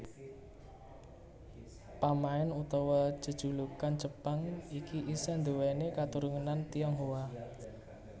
Pamain utawa jejulukan Jepang iki isih nduwèni katurunan Tionghoa